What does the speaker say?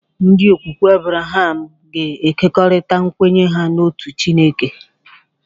Ndi okwukwe Abraham ga-ekerịta nkwenye ha n'otu Chineke.